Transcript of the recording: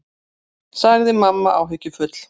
sagði mamma áhyggjufull.